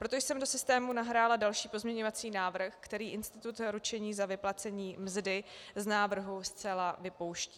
Proto jsem do systému nahrála další pozměňovací návrh, který institut ručení za vyplacení mzdy z návrhu zcela vypouští.